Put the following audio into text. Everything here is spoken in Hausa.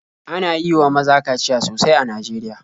Ana yi wa maza kaciya sosai a Najeriya.